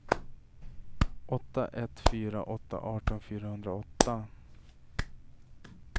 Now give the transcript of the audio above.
åtta ett fyra åtta arton fyrahundraåtta